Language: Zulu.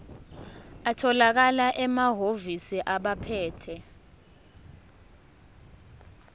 atholakala emahhovisi abaphethe